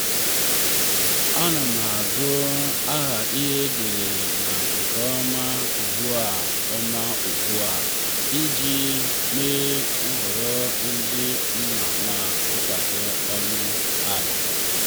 ana m agụ aha edere n'ihe nke ọma ugbu ọma ugbu a iji mee nhọrọ dị mma ma dikwa ọnụ ala.